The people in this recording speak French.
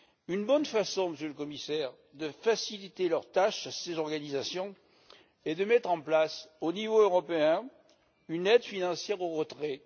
Une bonne façon, Monsieur le Commissaire, de faciliter leurs tâches, à ces organisations, est de mettre en place, au niveau européen, une aide financière au retrait.